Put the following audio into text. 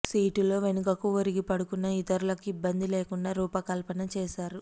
సీటులో వెనుకకు ఒరిగి పడుకున్న ఇతరులకు ఇబ్బంది లేకుండా రూపకల్పన చేశారు